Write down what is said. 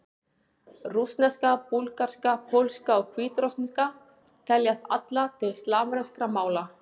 Rússneska, búlgarska, pólska og hvítrússneska teljast allar til slavneskra mála.